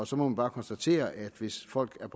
så må man bare konstatere at hvis folk er